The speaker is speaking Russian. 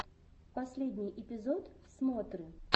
последний эпизод смотры